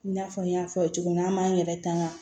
I n'a fɔ n y'a fɔ cogo min na an b'an yɛrɛ tanga